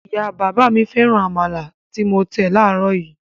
Ìyá-bàbá mi féràn amala tí mo tẹ̀ láàárọ̀ yìí.